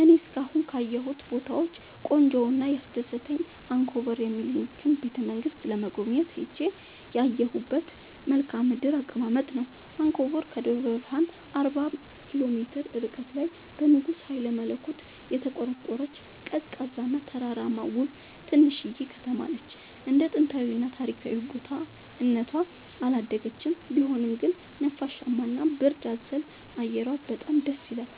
እኔ እስካሁን ካየሁት ቦታወች ቆንጆው እና ያስደሰተኝ አንኮበር የሚኒልክን ቤተ-መንግስት ለመጎብኘት ሄጄ ያየሁት መልከአ ምድራዊ አቀማመጥ ነው። አንኮበር ከደብረ ብረሃን አርባ ኪሎ ሜትር ርቀት ላይ በንጉስ ሀይለመለኮት የተቆረቆረች፤ ቀዝቃዛ እና ተራራማ ውብ ትንሽዬ ከተማነች እንደ ጥንታዊ እና ታሪካዊ ቦታ እነቷ አላደገችም ቢሆንም ግን ነፋሻማ እና ብርድ አዘል አየሯ በጣም ደስይላል።